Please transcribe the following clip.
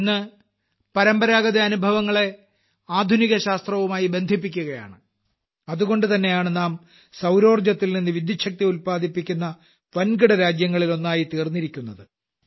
ഇന്ന് ഭാരതം പരമ്പരാഗത അനുഭവങ്ങളെ ആധുനികശാസ്ത്രവുമായി ബന്ധിപ്പിക്കുകയാണ് അതുകൊണ്ടുതന്നെയാണ് നാം സൌരോർജ്ജത്തിൽനിന്നു വിദ്യൂച്ഛക്തി ഉല്പാദിപ്പിക്കുന്ന വൻകിട രാജ്യങ്ങളിലൊന്നായി തീർന്നിരിക്കുന്നത്